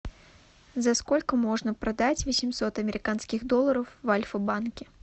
за сколько можно продать восемьсот американских долларов в альфа банке